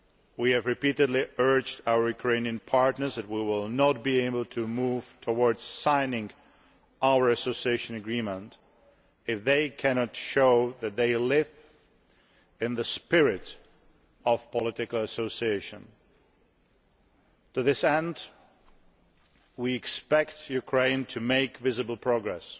We have repeatedly stressed to our Ukrainian partners that we will not be able to move towards signing our association agreement if they cannot show that they live in the spirit of political association. To this end, we expect Ukraine to make visible progress.